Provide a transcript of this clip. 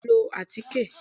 Bẹ́ẹ̀ni o máà lọ atike.